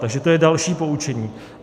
Takže to je další poučení.